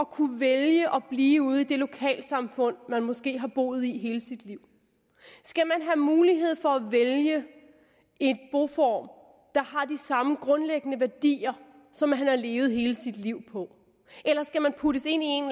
kunne vælge at blive ude i det lokalsamfund man måske har boet i hele sit liv skal man have mulighed for at vælge en boform der har de samme grundlæggende værdier som man har levet hele sit liv på eller skal man puttes ind en